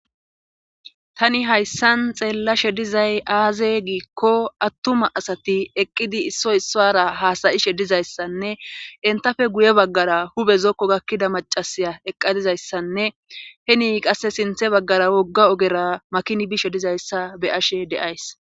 Tani hayssan xeellashe dizay aaze giikko attuma asati eqqidi issoy issara haasayishe dizayssanne entafe guye baggara hube zokko gakkida macasiya eqqadizayssanne heni qasse sinthe baggara wogga ogera makini bishe dizayssa be ashe deays.